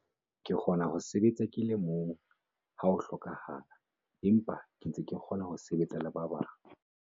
Ke kgona ho sebetsa ke le mong ha ho hlokahala empa ke ntse ke kgona ho sebetsa le ba bang.